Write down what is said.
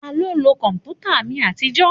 Taló ń lo kọ̀mpútà mi àtijọ́?